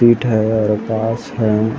पिट है और पास है।